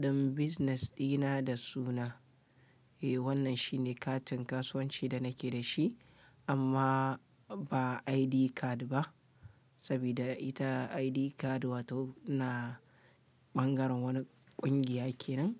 ɗin business dina da suna. Eh wannan shi ne katin kasuwanci da nake da shi amma ba ID card ba, sabida ita ID card wato na ɓangaren wani ƙungiya ke nan.